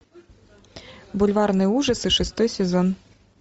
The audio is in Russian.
бульварные ужасы шестой сезон